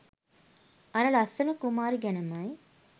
අර ලස්සන කුමාරි ගැනමයි.